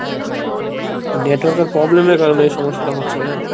network এর problem এর কারণে এই সমস্যাটা হচ্ছিল জানো।